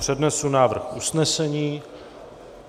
Přednesu návrh usnesení.